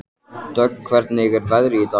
Dögg, hvernig er veðrið í dag?